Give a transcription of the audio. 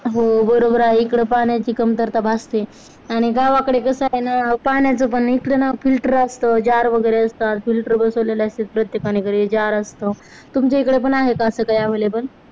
हो बरोबर आहे इकड पाण्याची कमतरता भासते आणि गावाकडे कस आहे ना पाण्याच पण इकड ना filter असतं jar वगैरे असतात. filter बसवलेले असते ते प्रत्येकाने घरी jar असतं तुमच्याकडे पण आहे का असं काही available